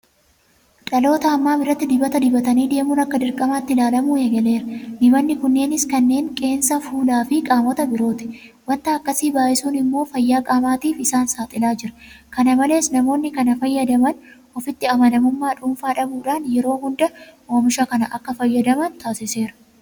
Dhaloota ammaa biratti dibata dibatanii deemuun akka dirqamaatti ilaalamuu eegaleera. Dibanni kunneenis kan qeensaa, Fuulaafi qaamota birooti. Waanta akkasii baay'isuun immoo fayyaa qaamaatiif isaan saaxilaa jira. Kana malees namoonni kana fayyadaman ofitti amanamummaa dhuunfaa dhabuudhaan yeroo hunda oomisha kana akka fayyadaman taasiseera.